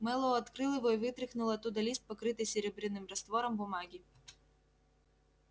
мэллоу открыл его и вытряхнул оттуда лист покрытой серебряным раствором бумаги